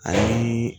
Ani